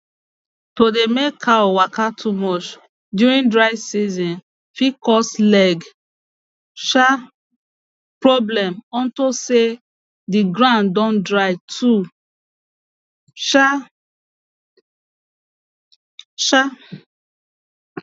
to dey make cows waka too much during dry season fit cause leg um problem onto say d ground don dry too um um